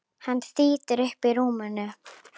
Hann þýtur upp úr rúminu.